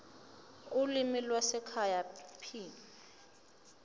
ulimi lwasekhaya p